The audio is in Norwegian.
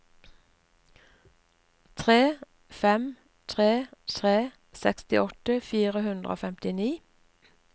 tre fem tre tre sekstiåtte fire hundre og femtini